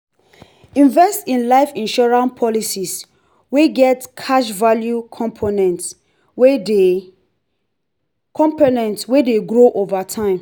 invest in life insurance policies wey get cash value components wey de components wey de grow over time